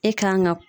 E kan ga